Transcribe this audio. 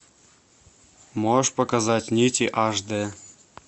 можешь показать нити аш дэ